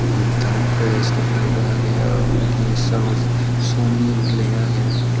enterprise guri lega aage aro undi sony guri lega aage.